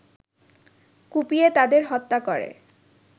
কুপিয়ে তাদের হত্যা করে